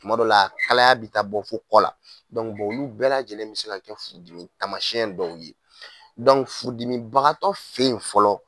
Tuma dow la kalaya bɛ taa bɔ fo kɔ la olu bɛɛ lajɛlen bɛ se ka kɛ furudimi tamasiyɛn dɔw ye furudimibagatɔ fɛ ye fɔlɔ.